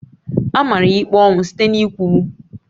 A mara ya ikpe ọnwụ site n'ịkwụgbu